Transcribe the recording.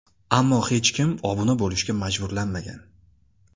Ammo hech kim obuna bo‘lishga majburlanmagan.